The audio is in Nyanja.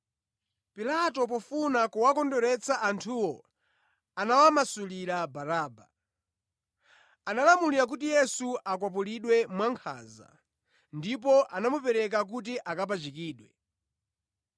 Pilato pofuna kuwakondweretsa anthuwo, anawamasulira Baraba. Analamula kuti Yesu akwapulidwe mwankhanza, ndipo anamupereka kuti akapachikidwe.